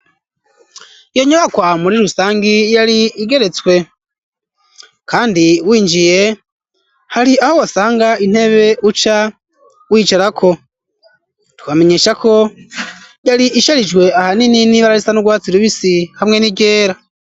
Iyo nyubakwa muri rusangi ,yari igeretswe kandi winjiye, hari aho wasanga intebe uca wicara ko ,twamenyesha ko yari isharijwe ahanini n'ibararisa nu rwatsi rubisi ,hamwe n'iryera.